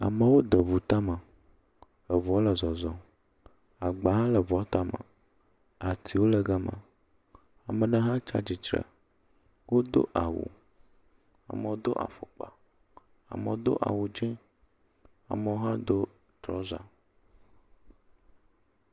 Amewo de ŋu tame, eŋua le zɔzɔm, agba hã le ŋua tame, atiwo le gama, ame ɖe hã tsi atsitre wodo awu amewo do afɔkpa, amewo do awu dzɛ̃, amewo hã do trɔza.